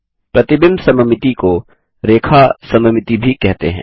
प्रतिबिंब सममिति को रेखा सममिति भी कहते हैं